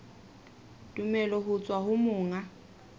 tumello ho tswa ho monga